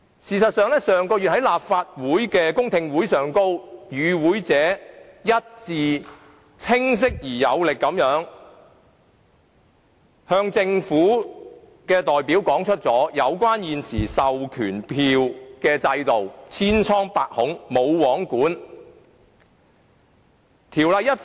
事實上，上月在立法會公聽會上，與會者清晰而有力地一致向政府代表表達現時授權書制度千瘡百孔及"無皇管"的問題。